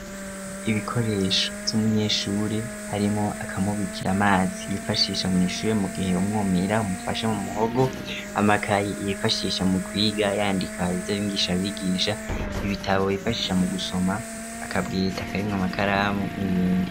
Ibikoresho vy'umunyeshuri harimwo akamubikira amazi yifashisha mu ishure mu gihe umwumira umufashe mu muhogo amakayi yifashisha mu kwiga yandika ivyo mwigisha abigisha ibitabo bifashisha mu gusoma akabwita karimwo amakaramu n'ibindi.